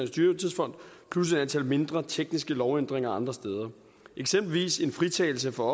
dyrtidsfond plus et antal mindre tekniske lovændringer andre steder eksempelvis en fritagelse for